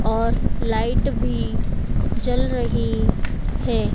और लाइट भी जल रही है।